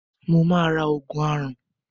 Mo máa ra òògùn aràn.